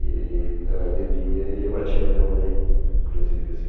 E ele ãh, bebia e ele batia na minha mãe, inclusive, assim.